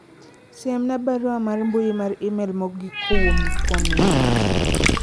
siemna barua mar mbui mar email mogik kowuok kuom minwa